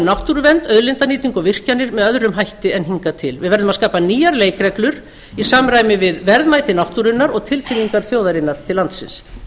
náttúruvernd auðlindanýtingu og virkjanir með öðrum hætti en hingað til við verðum að skapa nýjar leikreglur í samræmi við verðmæti náttúrunnar og tilfinningar þjóðarinnar til landsins